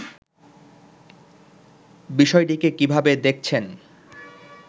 বিষয়টিকে কিভাবে দেখছেন